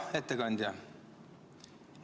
Hea ettekandja!